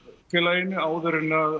félaginu áður en